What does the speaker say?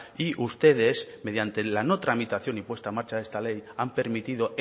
y ustedes mediante la no tramitación y puesta en marcha de esta ley han permitido